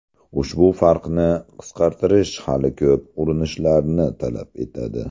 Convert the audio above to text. Ushbu farqni qisqartish hali ko‘p urinishlarni talab etadi.